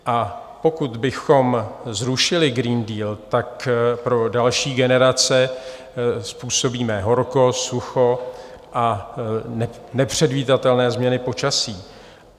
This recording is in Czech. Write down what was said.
A pokud bychom zrušili Green Deal, tak pro další generace způsobíme horko, sucho a nepředvídatelné změny počasí.